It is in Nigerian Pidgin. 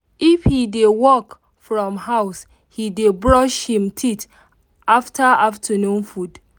if he dey work from house he dey brush him teeth after afternoon food